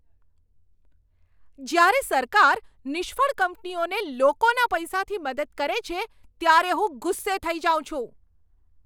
જ્યારે સરકાર નિષ્ફળ કંપનીઓને લોકોના પૈસાથી મદદ કરે છે, ત્યારે હું ગુસ્સે થઈ જાઉં છું.